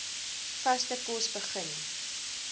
vaste kos begin